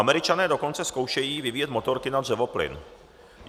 Američané dokonce zkoušejí vyvíjet motorky na dřevoplyn.